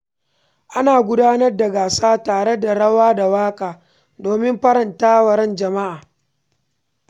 Ana gudanar da gasa ta rawa da waka domin faranta ran jama’a.